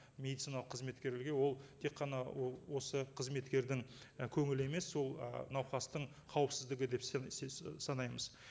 медициналық қызметкерлерге ол тек қана осы қызметкердің і көңілі емес ол ы науқастың қауіпсіздігі деп санаймыз